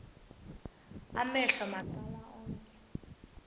amehlo macala onke